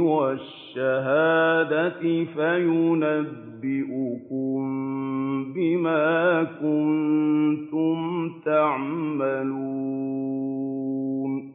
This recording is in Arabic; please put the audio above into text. وَالشَّهَادَةِ فَيُنَبِّئُكُم بِمَا كُنتُمْ تَعْمَلُونَ